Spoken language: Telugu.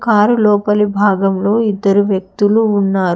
కారు లోపలి భాగంలో ఇద్దరు వ్యక్తులు ఉన్నారు.